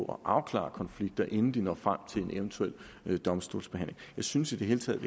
og afklare konflikter inden de når frem til en eventuel domstolsbehandling jeg synes i det hele taget